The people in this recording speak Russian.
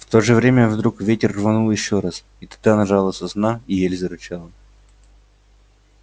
в то же время вдруг ветер рванул ещё раз и тогда нажала сосна и ель зарычала